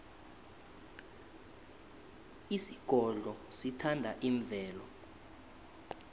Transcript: isigodlo sithanda imvelo